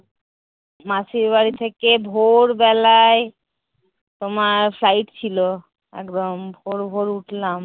মাসীর বাড়ি থেকে ভোর বেলায় তোমার site ছিল, একদম ভোর ভোর উঠলাম।